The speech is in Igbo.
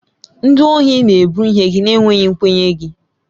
Ndị ohi na-ebu ihe gị na-enweghị nkwenye gị.